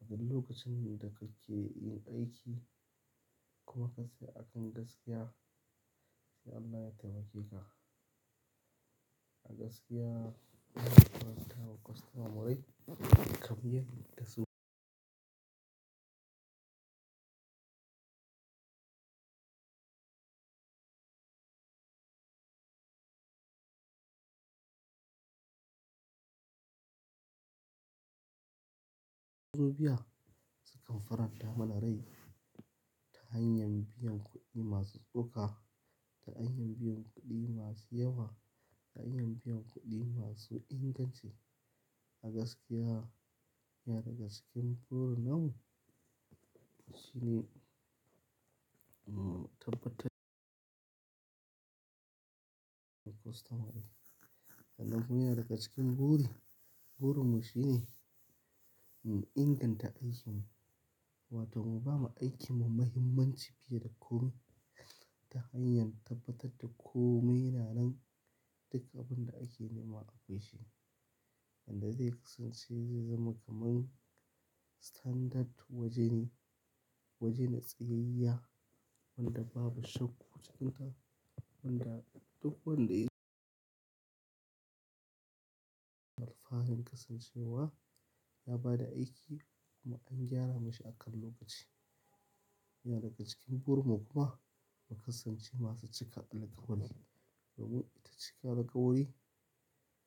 a duk lokacin da kake yin aiki kuma ka shirya akan gaskiya, sai Allah ya taimake ka. A gaskiya, muna faranta wa kwastamomai kabiyar da su. Su kan faranta mana rai ta hanyar biyan kuɗi masu tsoka, ta hanyar biyan kuɗi masu yawa, ta hanyar biyan kuɗi masu inganci. A gaskiya, yana daga cikin burin mu shine, mu tabbatar da kwastomomi. Sannan kuma yana daga cikin buri, burin mu shine mu inganta aikin mu, wato mu ba ma aikin mu mahimmanci fiye da ko wanne ta hanyar tabbatar da kome yana nan. Duk abin da ake nema akwai shi. Wanda zai kasance zai zama kamar standard wajeni, wajen da tsayayya wanda babu shakkokinsa, wanda duk wanda ya. Alfanin kasancewa ya ba da aiki kuma an gyara mashi akan lokaci. Yana daga cikin burin mu kuma mu kasance masu cika alkawari. Domin ita cika alkawari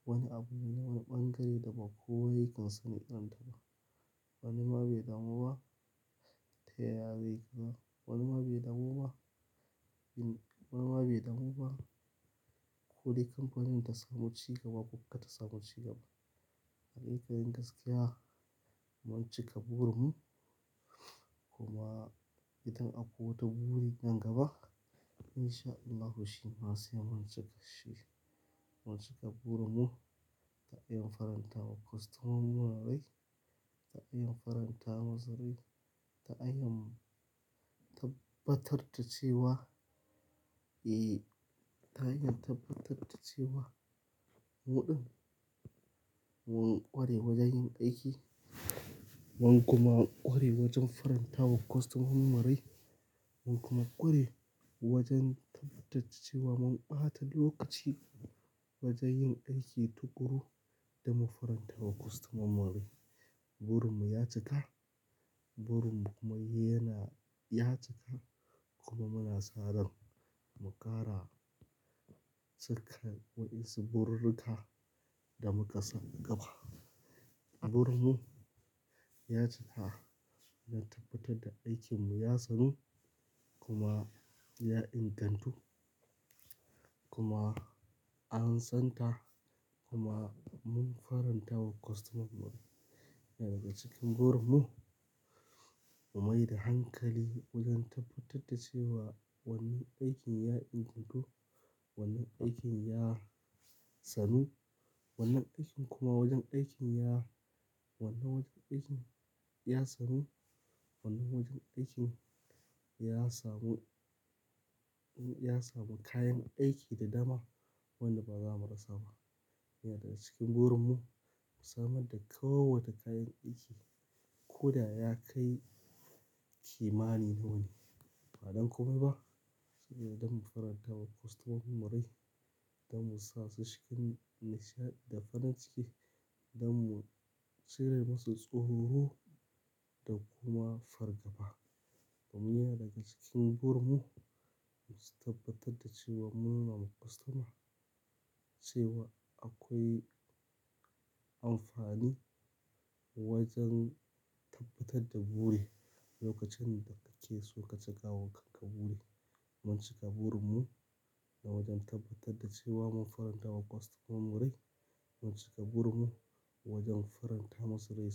wani abu ne na bangare da ba kowa yake sane da ita ba. Wani ma bai damu ba, ta ya zai gaza. Wani ma bai damu ba. Wani ma bai damu ba. Ko dai kamfanin ta samu cigaba ko kuma ba ta samu cigaba. Hakikin gaskiya, mun cika burin mu kuma idan akwai wata buri nan gaba in sha Allah shi ma sai mun cika shi. Mun cika burin mu ta hanyar faranta wa kwastamomin rai, ta hanyar faranta musu rai, ta hanyar tabbatar da cewa, eh, ta hanyar tabbatar da cewa muɗɗun mun ƙware wajen yin aiki, mun kuma ƙware wajen faranta wa kwastomun mu rai, mun kuma ƙware wajen tabbatar da cewa mun ɓata lokaci wajen yin aiki tuƙuru da mu faranta wa kwastoman rai. Burin mu ya cika, burin mu kuma yana ya cika kuma muna sa ran mu ƙara cikan wan insu bururru ka da muka sani gaba. Burin mu ya cika da tabbatar da aikin mu ya sanu kuma ya ingantu kuma an san ta kuma mun faranta wa kwastaman rai. Yana daga cikin burin mu mu mai da hankali wajen tabbatar da cewa wannan aikin ya ingantu, wannan aikin ya sanu, wannan aikin kuma wajen aikin ya, wannan wajen aikin ya sanu, wannan wajen aikin ya samu, ya samu kayan aiki da dama wanda ba za mu rasa ba. Yana daga cikin burin mu mu samar da kowace kayan aiki ko da ya kai kimani nawa ne. Ba don komaiba. Shi ne don mu faranta wa kwastamon mu rai, don mu sa su cikin nishaɗi da farin ciki, don mu cire musu tsoro da kuma fargaba. Domin yana daga cikin burin mu mu tabbatar da cewa mun nuna ma kwastoma cewa akwai amfani wajen tabbatar da buri a lokacin da kake so ka cika kanka buri. Mun cika burin mu na wajen tabbatar da cewa mun faranta wa kwastomomin mu rai, mun cika burin mu wajen faranta musu rai.